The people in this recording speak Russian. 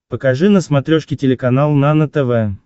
покажи на смотрешке телеканал нано тв